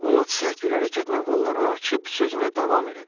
Ovod sərt bir hərəkətlə qollarını açıb sözünə davam elədi.